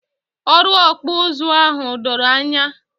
Ọrụ Okpu uzu ahụ doro ya ányá